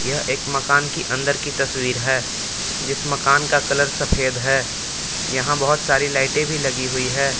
यह एक मकान की अंदर की तस्वीर है जिस मकान का कलर सफेद है यहां बहोत सारी लाइटें भी लगी हुई है।